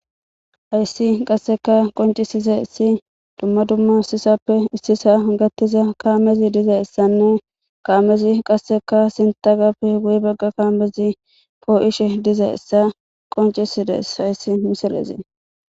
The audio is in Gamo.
Hayssi qasseka qoncisiza issi dumma dumma sisappe issisa gattiza kaamezi diza issanne kaamezi qasseka sintagappe guy bagga kaamezi poo7ishe diza issa qoncisides hayssi miselezee